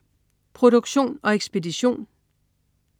Produktion og ekspedition: